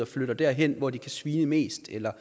flytter derhen hvor de kan svine mest eller